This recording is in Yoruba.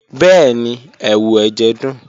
Bẹẹni, ẹwu ẹjẹ dun.